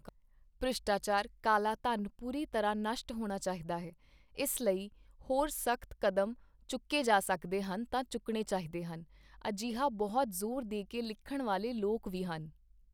ਭ੍ਰਿਸ਼ਟਾਚਾਰ, ਕਾਲਾ ਧਨ ਪੂਰੀ ਤਰ੍ਹਾਂ ਨਸ਼ਟ ਹੋਣਾ ਚਾਹੀਦਾ ਹੈ, ਇਸ ਲਈ ਹੋਰ ਸਖ਼ਤ ਕਦਮ ਚੁੱਕੇ ਜਾ ਸਕਦੇ ਹਨ ਤਾਂ ਚੁੱਕਣੇ ਚਾਹੀਦੇ ਹਨ, ਅਜਿਹਾ ਬਹੁਤ ਜ਼ੋਰ ਦੇ ਕੇ ਲਿਖਣ ਵਾਲੇ ਲੋਕ ਵੀ ਹਨ।